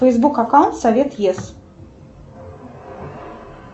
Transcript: фейсбук аккаунт совет ес